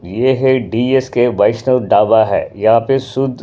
यह है डी_एस_के वैष्णव ढावा हैयहाँ पे शुद्ध--